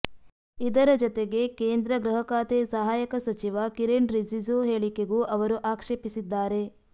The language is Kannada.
ಇದರ ಜತೆಗೆ ಕೇಂದ್ರ ಗೃಹ ಖಾತೆ ಸಹಾಯಕ ಸಚಿವ ಕಿರಣ್ ರಿಜಿಜು ಹೇಳಿಕೆಗೂ ಅವರು ಆಕ್ಷೇಪಿಸಿದ್ದಾರೆ